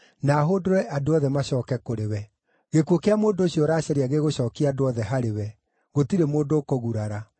na hũndũre andũ othe macooke kũrĩ we. Gĩkuũ kĩa mũndũ ũcio ũracaria gĩgũcookia andũ othe harĩwe; gũtirĩ mũndũ ũkũgurara.”